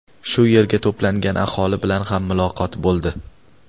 Shu yerga to‘plangan aholi bilan ham muloqot bo‘ldi.